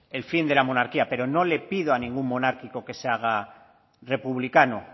el fin de la monarquía pero no le pido a ningún monárquico que se haga republicano